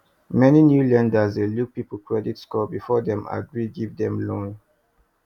many new lenders dey look people credit score before dem agree give dem loan